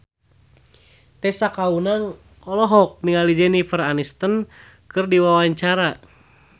Tessa Kaunang olohok ningali Jennifer Aniston keur diwawancara